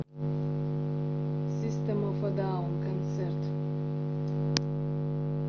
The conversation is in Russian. систем оф э даун концерт